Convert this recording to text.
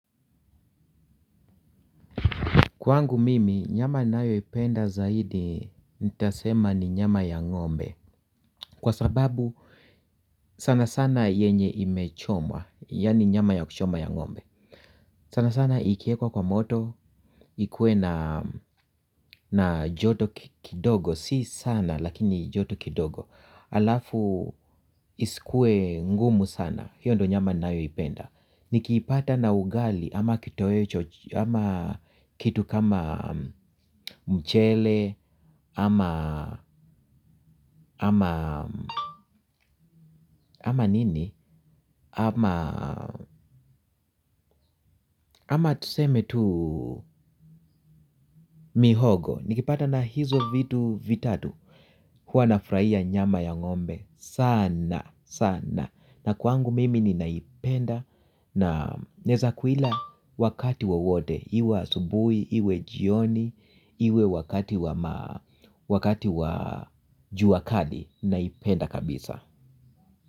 Kwangu mimi, nyama ninayo ipenda zaidi nitasema ni nyama ya ng'ombe. Kwa sababu sana sana yenye imechomwa, ya ni nyama ya kuchoma ya ng'ombe. Sana sana ikiekwa kwa moto, ikue na joto kidogo, si sana lakini joto kidogo. Alafu isikue ngumu sana, hiyo ndo nyama ninayo ipenda. Nikiipata na ugali ama kitu kama mchele ama nini. Ama tuseme tu mihogo nikipata na hizo vitu vitatu huwa nafurahia nyama ya ng'ombe sana sana. Na kwangu mimi nina ipenda na neza kuila wakati wowote, iwe asubuhi, iwe jioni, iwe wakati wa juakali naipenda kabisa.